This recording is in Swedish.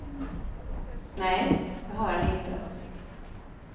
Nej, det har han inte.